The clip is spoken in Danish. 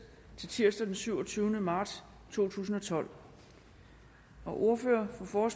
til tirsdag den syvogtyvende marts to tusind og tolv ordføreren for